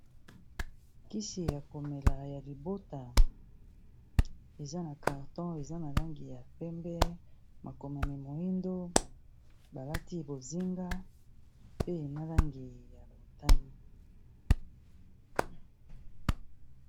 Kisi ya komela ya libota eza na carton eza na langi ya pembe makomami moyindo balati bozinga pe na langi ya motani